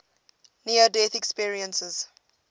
near death experiences